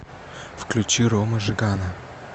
включи рому жигана